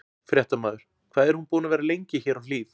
Fréttamaður: Hvað er hún búin að vera lengi hér á Hlíð?